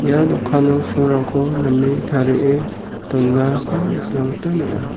ia dokano name tarie donako nikna gita man·a.